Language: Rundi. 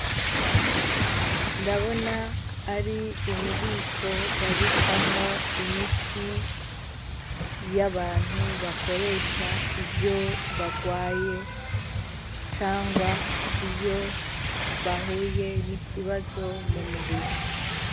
Ndabona ari ububiko babikamwo imiti y'abantu bakoresha iyo bagwaye cangwa iyo bahuye n'ikibazo mu mubiri.